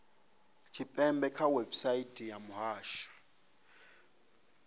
tshipembe kha website ya muhasho